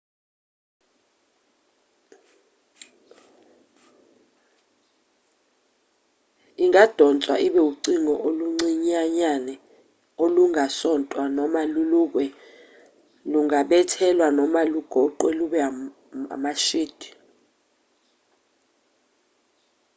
ingadonswa ibe ucingo oluncinyanyane olungasontwa noma lulukwe lungabethelwa noma lugoqwe lube amashidi